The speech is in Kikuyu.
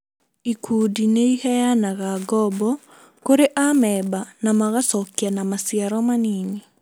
Ikundi nĩiheanaga ngombo kũri amemba na magacokia na maciaro manini